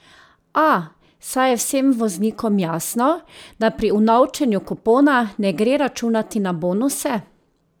A, saj je vsem voznikom jasno, da pri unovčenju kupona ne gre računati na bonuse?